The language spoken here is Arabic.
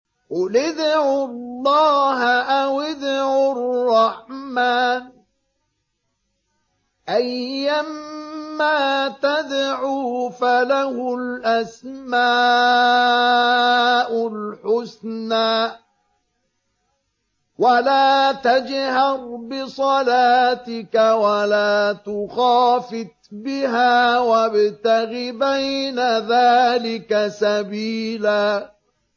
قُلِ ادْعُوا اللَّهَ أَوِ ادْعُوا الرَّحْمَٰنَ ۖ أَيًّا مَّا تَدْعُوا فَلَهُ الْأَسْمَاءُ الْحُسْنَىٰ ۚ وَلَا تَجْهَرْ بِصَلَاتِكَ وَلَا تُخَافِتْ بِهَا وَابْتَغِ بَيْنَ ذَٰلِكَ سَبِيلًا